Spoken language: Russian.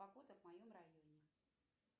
погода в моем районе